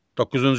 Doqquzuncu.